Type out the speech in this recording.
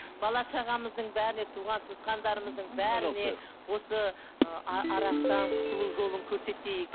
бала шағамыздың бәріне туған туысқандарымыздың бәріне осы ыыы арақтан құтылу жолын көрсетейік